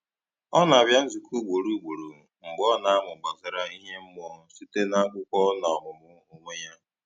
Ọ na-abịa nzukọ ugboro ugboro, mgbe ọ na-amụ gbasàra ime mmụọ site n’akwụkwọ na ọmụmụ onwe ya.